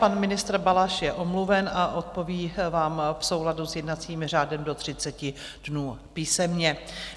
Pan ministr Balaš je omluven a odpoví vám v souladu s jednacím řádem do 30 dnů písemně.